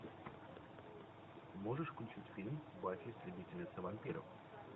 можешь включить фильм баффи истребительница вампиров